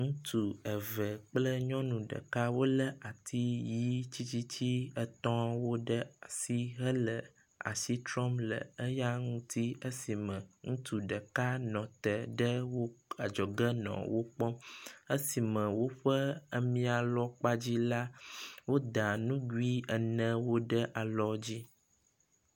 Ŋutsu eve kple nyɔnu ɖeka wolé ati yi titi etɔ̃wo ɖe asi hele asi trɔm le eya ŋuti esime ŋutsu ɖeka nɔ te ɖe wo adzɔge nɔ wo kpɔm, esime woƒe ami… alɔ kpa dzi la woda nugui enewo ɖe alɔ dzi.